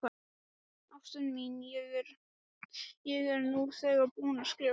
Ástin mín, ég er nú þegar búinn að skrifa þér.